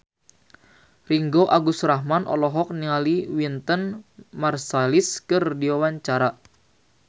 Ringgo Agus Rahman olohok ningali Wynton Marsalis keur diwawancara